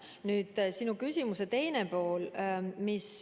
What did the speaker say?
Nüüd sinu küsimuse teine pool.